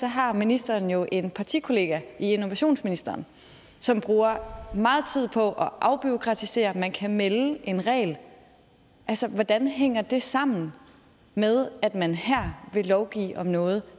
har ministeren jo en partikollega i innovationsministeren som bruger meget tid på at afbureaukratisere man kan melde en regel altså hvordan hænger det sammen med at man her vil lovgive om noget